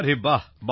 আরে বাঃ